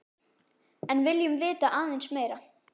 En viljum vita aðeins meira.